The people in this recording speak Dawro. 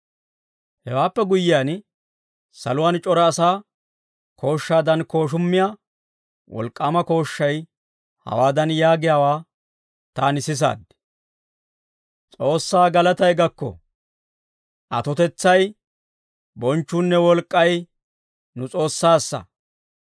Hewaappe guyyiyaan, saluwaan c'ora asaa kooshshaadan kooshummiyaa wolk'k'aama kooshshay hawaadan yaagiyaawaa taani sisaad; «S'oossaa galatay gakko. Atotetsay, bonchchuunne wolk'k'ay, nu S'oossaassa.